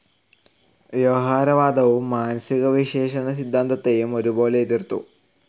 വ്യവഹാരവാദവും മാനസികവിശ്ലേഷണ സിദ്ധാന്തത്തേയും ഒരുപോലെ എതിർത്തു.